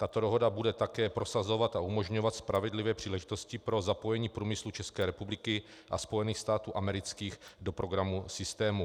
Tato dohoda bude také prosazovat a umožňovat spravedlivé příležitosti pro zapojení průmyslu České republiky a Spojených států amerických do programu systému.